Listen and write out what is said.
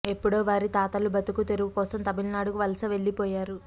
ఎప్పుడో వారి తాతలు బతుకు తెరువు కోసం తమిళనాడుకు వలస వెళ్లిపోయారు